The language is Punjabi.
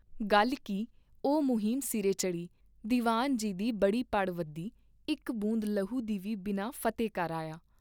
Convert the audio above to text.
ਗੱਲ ਕੀ ਉਹ ਮੁਹਿੰਮ ਸਿਰੇ ਚੜ੍ਹੀ, ਦੀਵਾਨ ਜੀ ਦੀ ਬੜੀ ਪੜ ਵਧੀ ਇਕ ਬੂੰਦ ਲਹੂ ਦੀ ਵੀ ਬਿਨਾ ਫਤੇ ਕਰ ਆਇਆ।